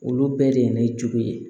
Olu bɛɛ de ye ne jogo ye